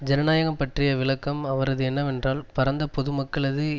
ஜனநாயகம் பற்றிய விளக்கம் அவரது என்னவென்றால் பரந்த பொதுமக்களது